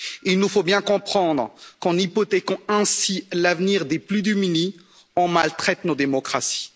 Il nous faut bien comprendre qu'en hypothéquant ainsi l'avenir des plus démunis, on maltraite nos démocraties.